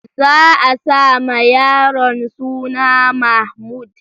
Za a sa ma yaron suna Mahmud.